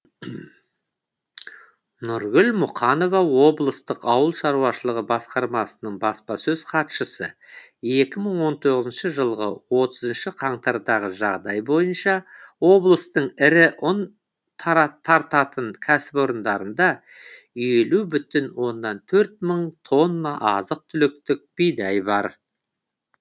нұргүл мұқанова облыстық ауыл шаруашылығы басқармасының баспасөз хатшысы екі мың он тоғызыншы жылғы отызыншы қаңтардағы жағдай бойынша облыстың ірі ұн тартатын кәсіпорындарында елу бүтін оннан төрт мың тонна азық түліктік бидай бар